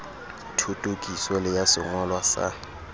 thothokiso le ya sengolwa sa